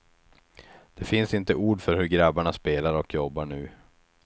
Det finns inte ord för hur grabbarna spelar och jobbar nu.